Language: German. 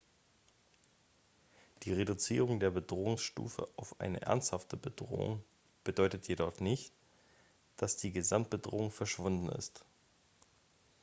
die reduzierung der bedrohungsstufe auf eine ernsthafte bedrohung bedeutet jedoch nicht dass die gesamtbedrohung verschwunden ist